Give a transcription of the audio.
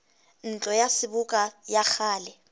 ntlo ya seboka ya kgale